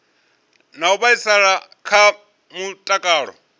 na u vhaisala kha mutakalo